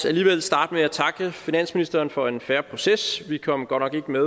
alligevel starte med at takke finansministeren for en fair proces vi kom godt nok ikke med